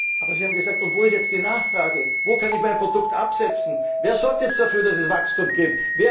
Aber sie haben gesagt Und wo ist jetzt die Nachfrage, wo kann ich mein Produkt absetzen? Wer sorgt jetzt dafür, dass es Wachstum